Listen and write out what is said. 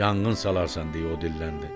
Yanğın salarsan deyə o dilləndi.